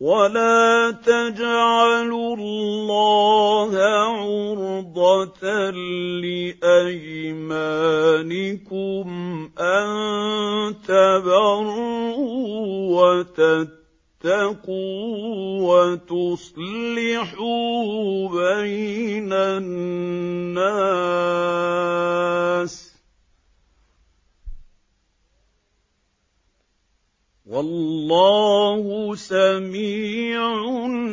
وَلَا تَجْعَلُوا اللَّهَ عُرْضَةً لِّأَيْمَانِكُمْ أَن تَبَرُّوا وَتَتَّقُوا وَتُصْلِحُوا بَيْنَ النَّاسِ ۗ وَاللَّهُ سَمِيعٌ